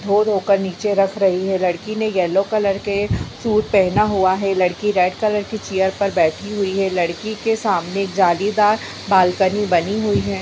धो-धो कर नीचे रख रही है। लड़की ने येल्लो कलर के के सूट पहना हुआ है। लड़की रेड कलर की चेयर पर बैठी हुई है। लड़की के सामने जालीदार बालकनी बनी हुई है।